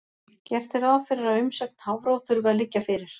Gert er ráð fyrir að umsögn Hafró þurfi að liggja fyrir.